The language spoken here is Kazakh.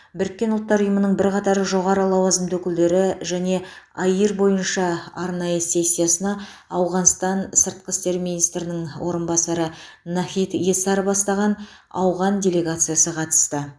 біріккен ұлттар ұйымының бірқатар жоғары лауазымды өкілдері және аир бойынша арнайы сессиясына ауғанстан сыртқы істер министрінің орынбасары нахид эсар бастаған ауған делегациясы қатысты